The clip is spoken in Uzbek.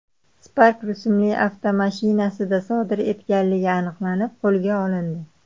Spark rusumli avtomashinasida sodir etganligi aniqlanib, qo‘lga olindi.